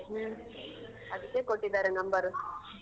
ಅದಿಕ್ಕೆ ಕೊಟ್ಟಿದಾರೆ number .